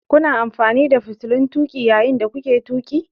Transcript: Kuna amfani da fitilun tuƙi yayin da kuke tuƙi?